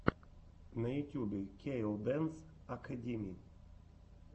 на ютюбе кей оу дэнс акэдими